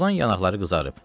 Soyuqdan yanaqları qızarıb.